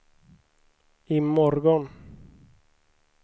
imorgon